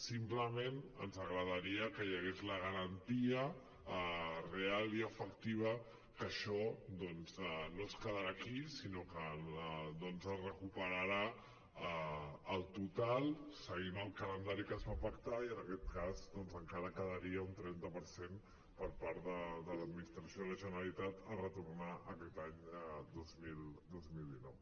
simplement ens agradaria que hi hagués la garantia real i efectiva que això doncs no es quedarà aquí sinó que es recuperarà el total seguint el calendari que es va pactar i en aquest cas encara quedaria un trenta per cent per part de l’administració de la generalitat a retornar aquest any dos mil dinou